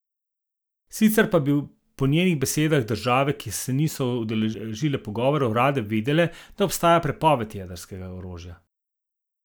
Sicer pa bi po njenih besedah države, ki se niso udeležile pogovorov, rade videle, da obstaja prepoved jedrskega orožja.